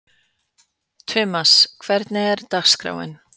Tumas, hvernig er dagskráin?